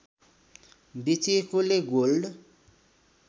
बेचिएकोले gold